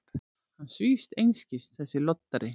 Hann svífst einskis, þessi loddari!